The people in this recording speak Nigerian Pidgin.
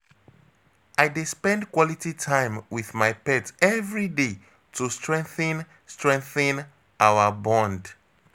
I dey spend quality time with my pet every day to strengthen strengthen our bond.